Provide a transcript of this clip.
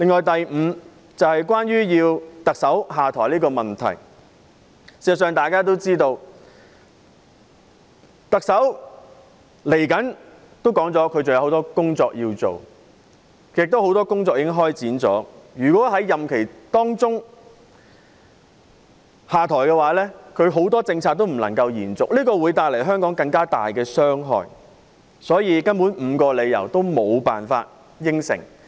第五項訴求是要求特首下台，眾所周知，特首已表示她在不久的將來還有很多工作要做，而很多工作亦已開展，如果在任期內下台，她提出的很多政策便不能夠延續，對香港會帶來更大傷害，所以，該5項訴求根本是無法答應。